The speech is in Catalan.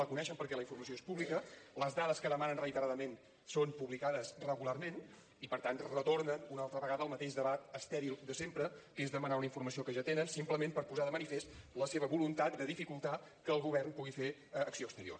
la coneixen perquè la informació és pública les dades que demanen reiteradament són publicades regularment i per tant retornen una altra vegada al mateix debat estèril de sempre que és demanar una informació que ja tenen simplement per posar de manifest la seva voluntat de dificultar que el govern pugui fer acció exterior